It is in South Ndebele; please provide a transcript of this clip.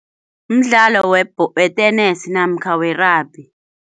Mdlalo wetenesi namkha we-rugby.